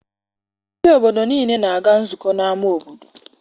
Ndị obodo niile na-aga nzukọ n'ama obodo.